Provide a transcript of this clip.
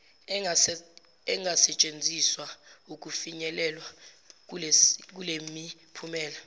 engasetshenziswa ukufinyelelwa kulemiphumela